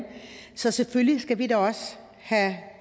så selvfølgelig skal vi da også have